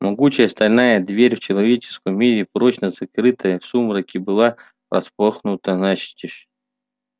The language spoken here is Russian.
могучая стальная дверь в человеческом мире прочно закрытая в сумраке была распахнута настежь